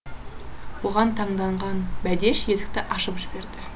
бұған таңданған бәдеш есікті ашып жіберді